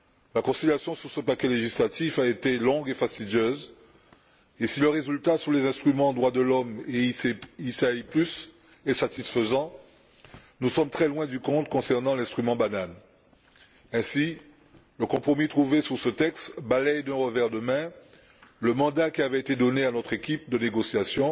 La conciliation sur ce paquet législatif a été longue et fastidieuse et si le résultat sur les instruments droits de l'homme et IPI est satisfaisant, nous sommes très loin du compte concernant l'instrument bananes. Ainsi, le compromis trouvé sur ce texte balaie d'un revers de la main le mandat qui avait été donné à notre équipe de négociation,